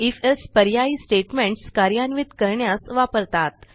if else पर्यायी statements कार्यान्वित करण्यास वापरतात